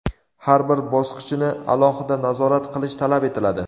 har bir bosqichini alohida nazorat qilish talab etiladi.